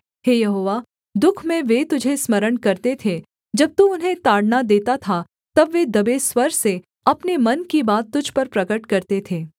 हे Jehovah दुःख में वे तुझे स्मरण करते थे जब तू उन्हें ताड़ना देता था तब वे दबे स्वर से अपने मन की बात तुझ पर प्रगट करते थे